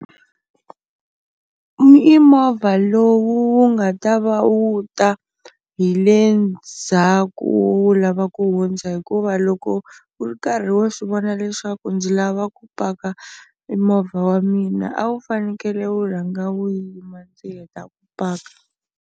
I movha lowu wu nga ta va wu ta hi le ndzhaku wu lava ku hundza hikuva loko u ri karhi wo swi vona leswaku ndzi lava ku paka e movha wa mina a wu fanekele wu rhanga u yima ndzi heta ku paka.